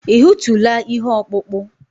Ị hụtụla ihe ọkpụkpụ?